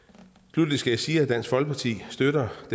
sluttelig skal jeg sige at dansk folkeparti støtter det